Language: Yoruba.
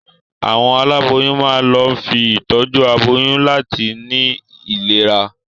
Àwọn aláboyún máa ń lọ fún ìtọ́jú aboyún láti ní ìlera.